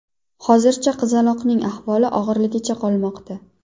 Hozircha qizaloqning ahvoli og‘irligicha qolmoqda.